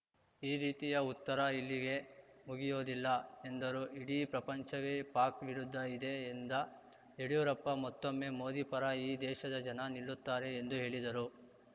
ಈ ರೀತಿಯ ಉತ್ತರ ಇಲ್ಲಿಗೆ ಮುಗಿಯೋದಿಲ್ಲ ಎಂದರು ಇಡೀ ಪ್ರಪಂಚವೇ ಪಾಕ್‌ ವಿರುದ್ಧ ಇದೆ ಎಂದ ಯಡಿಯೂರಪ್ಪ ಮತ್ತೊಮ್ಮೆ ಮೋದಿ ಪರ ಈ ದೇಶದ ಜನ ನಿಲ್ಲುತ್ತಾರೆ ಎಂದು ಹೇಳಿದರು